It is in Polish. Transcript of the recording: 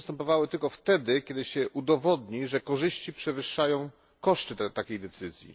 One będą przystępowały tylko wtedy, kiedy się udowodni, że korzyści przewyższają koszty takiej decyzji.